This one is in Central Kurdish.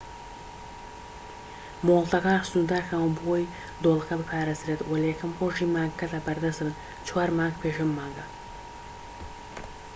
مۆڵەتەکان سنوردارکراون بۆ ئەوەی دۆڵەکە بپارێزرێت وە لە یەکەم ڕۆژی مانگەکەدا بەردەست دەبن چوار مانگ پێش ئەم مانگە